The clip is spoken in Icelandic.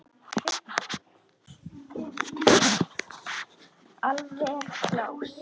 Alveg glás.